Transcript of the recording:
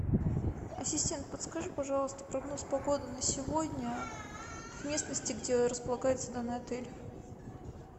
ассистент подскажи пожалуйста прогноз погоды на сегодня в местности где располагается данный отель